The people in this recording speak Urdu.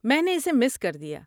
میں نے اسے مس کر دیا۔